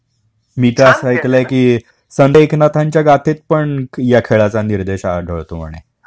मी तर असं ऐकलंय की, संत एकनाथांच्या गाथेत पण ह्या खेळाचा निर्देश आढळतो म्हणे